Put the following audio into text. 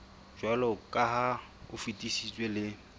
jwaloka ha o fetisitswe le